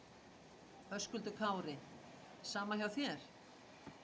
Höskuldur Kári: Sama hjá þér?